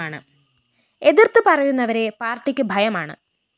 എതിര്‍ത്ത് പറയുന്നവരെ പാര്‍ട്ടിക്ക് ഭയമാണ്